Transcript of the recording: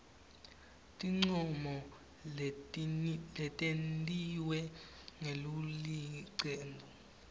tincomo letentiwe ngulelicembu